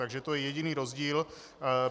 Takže to je jediný rozdíl.